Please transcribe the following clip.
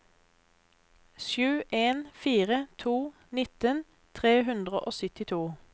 sju en fire to nitten tre hundre og syttito